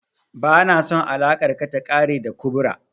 Ba na son alakar ka ta ƙare da kubra